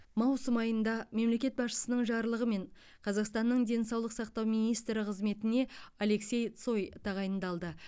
маусым айында мемлекет басшысының жарлығымен қазақстанның денсаулық сақтау министрі қызметіне алексей цой тағайындалды